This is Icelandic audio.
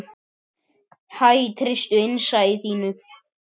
Hæ, treystu innsæi þínu.